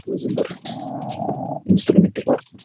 өзі бір ііі инструменттер бар